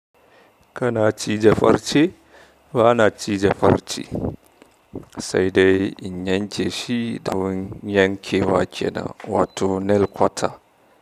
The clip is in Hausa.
Kana cije farce? Bana cije farce, sai dai in yanke shi da abin yankewa kenan wato nail cutter.